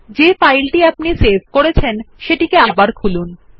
আমাদের দেখা ফাইলটিকে আবার খুলুন